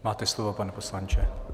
Máte slovo, pane poslanče.